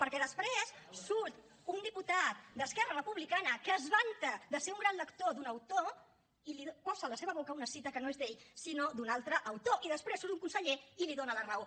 perquè després surt un diputat d’esquerra republicana que es vanta de ser un gran lector d’un autor i posa a la seva boca una cita que no és d’ell sinó d’un altre autor i després surt un conseller i li dona la raó